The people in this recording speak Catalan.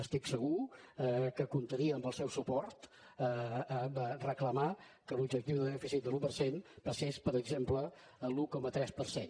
estic segur que comptaria amb el seu suport per reclamar que l’objectiu de dèficit de l’un per cent passés per exemple a l’un coma tres per cent